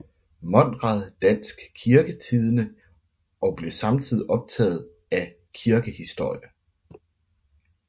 Monrad Dansk Kirketidende og blev samtidig optaget af kirkehistorie